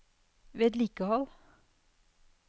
vedlikehold